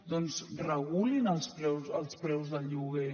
doncs regulin els preus del lloguer